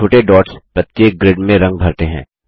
छोटे डॉट्स प्रत्येक ग्रिड में रंग भरते हैं